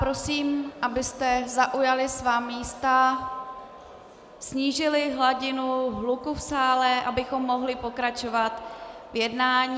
Prosím, abyste zaujali svá místa, snížili hladinu hluku v sále, abychom mohli pokračovat v jednání...